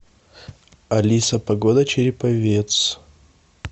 алиса погода череповец